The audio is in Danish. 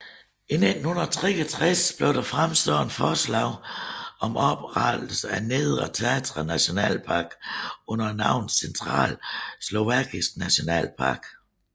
I 1963 blev der fremsat et forslag om oprettelse af Nedre Tatra Nationalpark under navnet Centrale Slovakiske Nationalpark